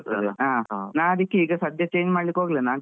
ಹಾ ನಾನ್ ಅದ್ಕೆ ಸದ್ಯಕೆ change ಮಾಡ್ಲಿಕ್ಕೆ ಹೋಗಿಲ್ಲ,